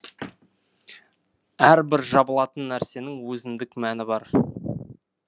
әрбір жабылатын нәрсенің өзіндік мәні бар